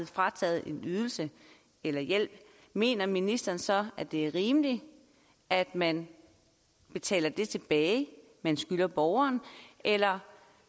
frataget en ydelse eller hjælp mener ministeren så det er rimeligt at man betaler det tilbage man skylder borgeren eller